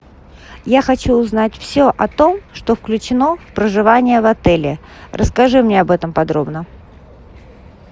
я хочу узнать все о том что включено в проживание в отеле расскажи мне об этом подробно